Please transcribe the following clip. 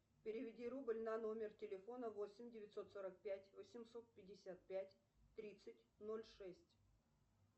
переведи рубль на номер телефона восемь девятьсот сорок пять восемьсот пятьдесят пять тридцать ноль шесть